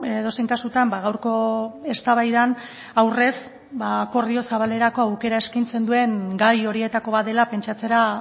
edozein kasutan gaurko eztabaidan aurrez akordio zabalerako aukera eskaintzen duen gai horietako bat dela pentsatzera